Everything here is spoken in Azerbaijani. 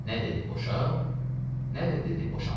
Nə dedi boşa, nə də dedi boşama.